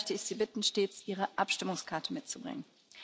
Daher möchte ich Sie bitten, stets Ihre Abstimmungskarte mitzubringen.